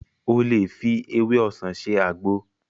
O lè fi ewé ọsàn ṣe àgbo